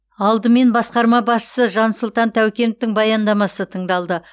алдымен басқарма басшысы жансұлтан тәукеновтің баяндамасы тыңдалды